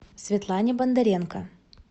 светлане бондаренко